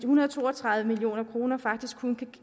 hundrede og to og tredive million kroner faktisk kun kan